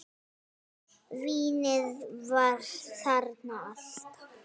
Vínið var þarna alltaf.